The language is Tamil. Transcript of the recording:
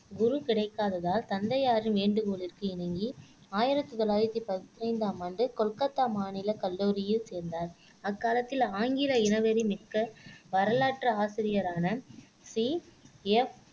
குரு கிடைக்காததால் தந்தையாரின் வேண்டுகோளுக்கு இணங்கி ஆயிரத்தி தொள்ளாயிரத்தி பதினைந்தாம் ஆண்டு கொல்கத்தா மாநிலக் கல்லூரியில் சேர்ந்தார் அக்காலத்தில் ஆங்கில இனவெறி மிக்க வரலாற்று ஆசிரியரான சி எப்